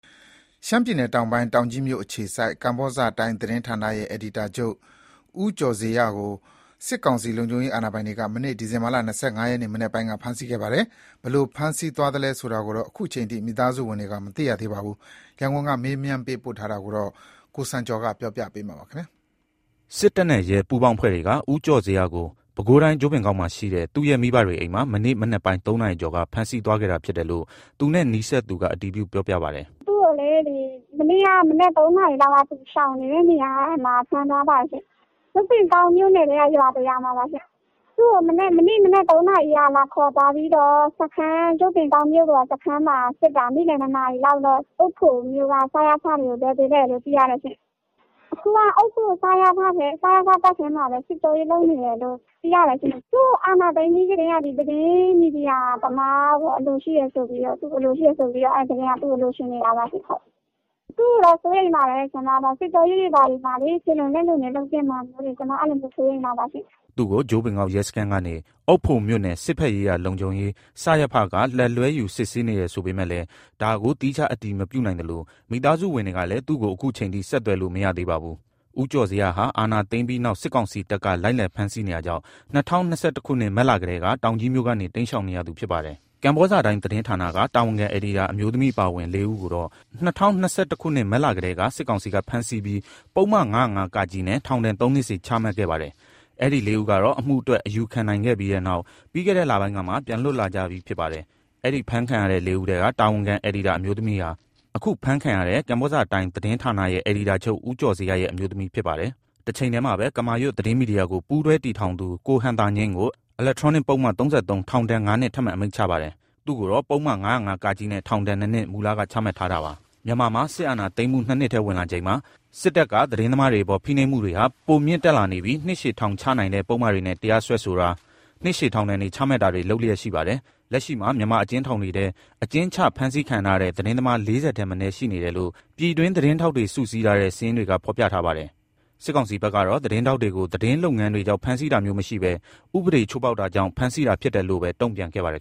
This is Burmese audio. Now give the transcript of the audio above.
ရှမ်းပြည်နယ်တောင်ပိုင်း၊ တောင်ကြီးမြို့အခြေစိုက် ကမ္ဘောဇတိုင်း(KBZ Tai) သတင်းဌာနရဲ့အယ်ဒီတာချုပ် ဦးကျော်ဇေယျကို စစ်ကောင်စီလုံခြုံရေးအာဏာပိုင်တွေက မနေ့ ဒီဇင်ဘာလ ၂၅ ရက် မနက်ပိုင်းက ဖမ်းဆီးခဲ့ပါတယ်။ ဘယ်ကိုဖမ်းဆီးသွားသလဲဆိုတာကိုတော့ အခုအချိန်အထိ မိသားစုဝင်တွေက မသိရသေးပါဘူး။ ရန်ကုန်က မေးမြန်းသတင်းပေးပို့ထားပါတယ်။ စစ်တပ်နဲ့ရဲ ပူးပေါင်းအဖွဲ့တွေက ဦးကျော်ဇေယျကို ပဲခူးတိုင်း၊ ကြို့ပင်ကောက် မှာရှိတဲ့ သူ့ရဲ့မိဘတွေအိမ်မှာ မနေ့မနက်ပိုင်း ၃ နာရီကျော်က ဖမ်းဆီးသွားခဲ့တာဖြစ်တယ်လို့ သူနဲ့နီးစပ်သူကအတည်ပြု ပြောပြပါတယ်။ “သူ့ကို မနေ့ကတည်းက သူရှောင်နေတဲ့ ရွာတရွာကနေ ဖမ်းသွားပါတယ်။ ကြို့ ပင်ကောက်နားကရွာပေါ့။ မနေ့မနက် ၃ နာရီလောက်ကလာခေါ်ပြီးတော့ ကြို့ ပင်ကောက် ရဲစခန်းမှာစစ်တာ။ နေ့လယ် ၂ နာရီလောက်၊ အုတ်ဖိုမြို့က စရဖကို ခေါ်သွားတယ်လို့သိရတယ်။ ခုက အုတ်ဖို စရဖထဲမှာပဲ စစ်ကြောရေးလုပ်နေတယ်လို့သိရတယ်။ အာဏာသိမ်းကတည်းက သတင်းမီဒီယာသမားဆိုပြီး သူ့ကိုလိုချင်နေတာပါ။ သူ့ကို စိုးရိမ်ပါတယ်။ စစ်ကြောရေးမှာ ခြေလွန်လက်လွန်တွေဖြစ်ကုန်မှာကို အတော်လေးစိုးရိမ်နေပါတယ်။’’ သူ့ကို ကြိုပင်ကောက်ရဲစခန်းကနေ အုတ်ဖိုမြို့နယ် စစ်ဘက်ရေးရာလုံခြုံရေး စရဖက လက်လွှဲယူစစ်ဆေးနေတယ်ဆိုပေမယ့်လည်း ဒါကို သီးခြားအတည်မပြုနိုင်သလို မိသားစုဝင်တွေလည်း ခုအချိန်အထိ ဆက်သွယ်လို့မရသေးပါဘူး။ ဦးကျော်ဇေယျဟာ အာဏာသိမ်းပြီးနောက် စစ်ကောင်စီတပ်က လိုက်လံ ဖမ်းဆီးနေတာကြောင့် ၂၀၂၁ ခုနှစ်၊ မတ်လကတည်းက တောင်ကြီးမြို့ကနေ တိမ်းရှောင်နေရသူဖြစ်ပါတယ်။ ကမ္ဘောဇတိုင်းသတင်းဌာနက တာဝန်ခံအယ်ဒီတာ အမျိုးသမီးအပါအဝင် ၄ ဦး ကိုတော့ ၂၀၂၁ ခုနှစ်၊ မတ်လကတည်းက စစ်ကောင်စီကဖမ်းဆီးပြီး ပုပ်မ ၅၀၅-ကနဲ့ ထောင်ဒဏ် ၃ နှစ်စီချမှတ်ခဲ့ပါတယ်။ အဲဒီ ၄ ဦးကတော့ အမှုအတွက် အယူခံနိုင်ခဲ့ပြီးတဲ့နောက် ပြီးခဲ့တဲ့လပိုင်းကမှ ပြန်လွတ်လာကြပြီးဖြစ်ပါတယ်။ အဲဒီ အဖမ်းခံရတဲ့ ၄ ဦးထဲက တာဝန်ခံအယ်ဒီတာအမျိုးသမီးဟာ ခုဖမ်းခံရတဲ့ ကမ္ဘောဇတိုင်း(KBZ Tai) သတင်းဌာနရဲ့ အယ်ဒီတာချုပ် ဦးကျော်ဇေယျရဲ့အမျိုးသမီးဖြစ်ပါတယ်။ တချိန်တည်းမှာပဲ ကမာရွတ်သတင်းမီဒီယာကိုပူးတွဲတည်ထောင်သူ ကိုဟံသာညိန်းကို အီလက်ထရောနစ်ပုဒ်မ ၃၃ ထောင်ဒဏ် ၅ နှစ် ထပ်မံအမိန့်ချပါတယ်။ သူ့ကိုတော့ ပုဒ်မ ၅၀၅(က)နဲ့ ထောင်ဒဏ်နှစ်နှစ် မူလက ချမှတ်ထားတာပါ။ မြန်မာမှာ စစ်အာဏာသိမ်းမှု ၂ နှစ်ထဲဝင်လာချိန်မှာ စစ်တပ်က သတင်းသမားတွေအပေါ် ဖိနှိပ်မှုတွေဟာ ပိုမြင့်တက်လာနေပြီး နှစ်ရှည်ထောင်ချနိုင်တဲ့ ပုဒ်မတွေနဲ့ တရားစွဲဆိုတာ၊ နှစ်ရှည်ထောင်ဒဏ်တွေ ချမှတ်တာတွေ လုပ်လျက်ရှိပါတယ်။ လက်ရှိမှာ မြန်မာအကျဉ်းထောင်တွေထဲ အကျဉ်းချ၊ ဖမ်းဆီး ခံထားရတဲ့ သတင်းသမား ၄၀ ထက်မနည်းရှိနေတယ်လို့ ပြည်တွင်းသတင်းထောက်တွေ စုစည်းထားတဲ့စာရင်းတွေကဖော်ပြထားပါတယ်။ စစ်ကောင်စီဘက်ကတော့ သတင်းထောက်တွေကို သတင်းလုပ်ငန်းတွေကြောင့် ဖမ်းဆီးတာမျိုးမရှိဘဲ ဥပဒေချိုးဖောက်တာကြောင့် ဖမ်းဆီးတာဖြစ်တယ်လို့ပဲ တုံ့ပြန်ခဲ့ပါတယ်